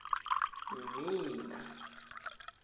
mmina